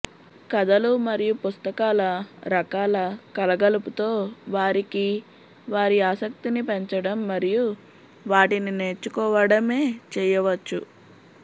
కథలు మరియు పుస్తకాల రకాల కలగలుపుతో వారికి వారి ఆసక్తిని పెంచడం మరియు వాటిని నేర్చుకోవడమే చేయవచ్చు